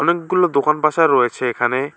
অনেকগুলো দোকানপাশা রয়েছে এখানে।